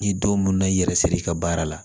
Ni don mun na i yɛrɛ siri i ka baara la